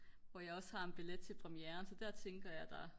hvor jeg også har en billet til premiæren så der tænker jeg der